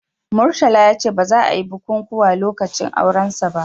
Murtala ya ce ba za a yi bikunkuna lokacin aurensa ba